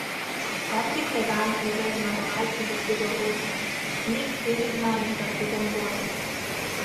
Patrik Leban je za zmagovalce dosegel osem, Nik Henigman pa sedem golov.